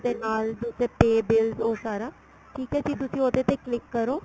ਨਾਲ ਉਹਦੇ pay bills ਉਹ ਸਾਰਾ ਠੀਕ ਏ ਜੀ ਤੁਸੀਂ ਉਹਦੇ ਤੇ click ਕਰੋ